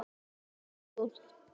Gengur burt.